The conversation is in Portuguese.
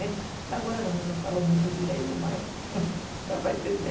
Até agora também não falo muito direito, mas dá para entender.